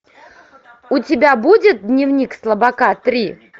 у тебя будет дневник слабака три